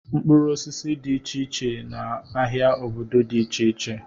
Mkpụrụ osisi dị iche iche na ahịa obodo dị iche iche.